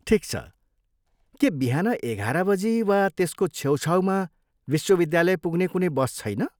ठिक छ, के बिहान एघार बजी वा त्यसको छेउछाउमा विश्वविद्यालय पुग्ने कुनै बस छैन?